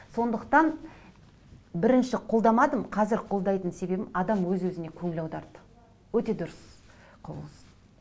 сондықтан бірінші қолдамадым қазір қолдайтын себебім адам өз өзіне көңіл аударды өте дұрыс құбылыс